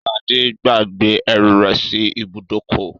Ṣadé gbàgbé ẹrù rẹ̀ sí ibùdókọ̀.